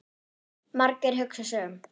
Margeir hugsar sig um.